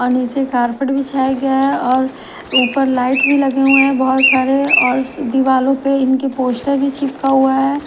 और नीचे कारपेट बिछाया गया और ऊपर लाइट भी लगे हुए हैं बहुत सारे और दीवालो पे इनके पोस्टर भी चिपका हुआ हैं।